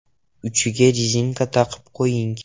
Uchiga rezinka taqib qo‘ying.